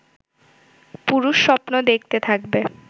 পুরুষ স্বপ্ন দেখতে থাকবে